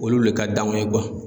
Olu le ka danw ye